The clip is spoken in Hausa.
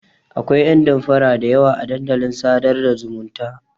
Akwai ƴan damfara da yawa a dandalin sadar da zumunta.